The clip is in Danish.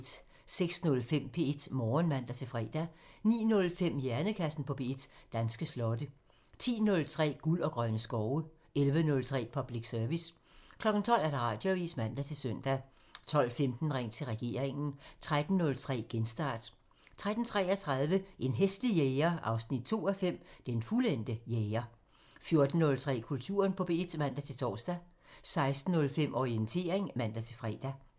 06:05: P1 Morgen (man-fre) 09:05: Hjernekassen på P1: Danske slotte 10:03: Guld og grønne skove (man) 11:03: Public Service (man) 12:00: Radioavisen (man-søn) 12:15: Ring til regeringen (man) 13:03: Genstart (man-fre) 13:33: En hæslig jæger 2:5 – Den fuldendte jæger 14:03: Kulturen på P1 (man-tor) 16:05: Orientering (man-fre)